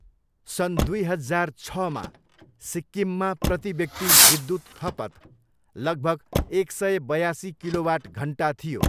सन् दुई हजार छ, मा सिक्किममा प्रतिव्यक्ति विद्युत खपत लगभग एक सय बयासी किलोवाट घन्टा थियो।